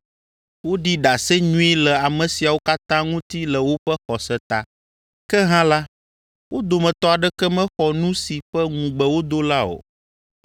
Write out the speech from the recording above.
Woɖi ɖase nyui le ame siawo katã ŋuti le woƒe xɔse ta, ke hã la, wo dometɔ aɖeke mexɔ nu si ƒe ŋugbe wodo la o.